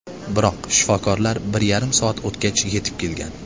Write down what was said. Biroq shifokorlar bir yarim soat o‘tgach yetib kelgan.